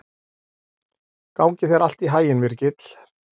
Gangi þér allt í haginn, Virgill.